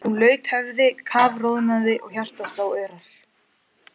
Hún laut höfði, kafroðnaði og hjartað sló örar.